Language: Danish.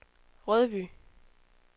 Rødby